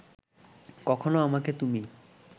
কখনো আমাকে তুমি